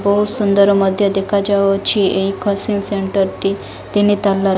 ବୋହୁ ସୁନ୍ଦର ମଧ୍ୟ ଦେଖାଯାଉଅଛି ଏହି କୋଚିଂ ସେଣ୍ଟର୍ ଟି ତିନି ତାଲା --